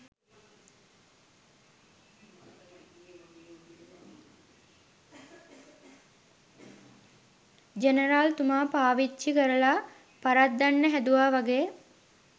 general තුමා පාවිච්චි කරලා පරද්දන්න හැදුවා වගෙ